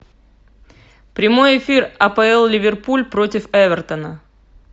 прямой эфир апл ливерпуль против эвертона